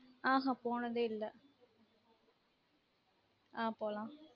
ஆஹான் போனதே இல்ல ஆஹ் போலான்